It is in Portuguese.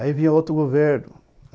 Aí vinha outro governo.